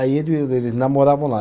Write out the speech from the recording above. Aí eles eles namoravam lá.